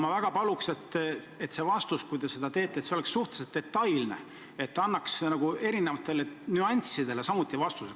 Ma väga paluks, et see vastus, kui te seda annate, oleks suhteliselt detailne, et ta annaks eri nüanssidele samuti vastuse.